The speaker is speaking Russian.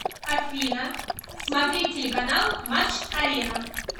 афина смотреть телеканал матч арена